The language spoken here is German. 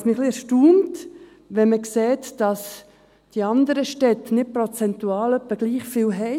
Was mich ein wenig erstaunt, ist, wenn man sieht, dass die anderen Städte nicht prozentual etwa gleichviele haben.